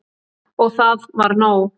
Og það var nóg.